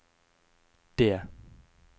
D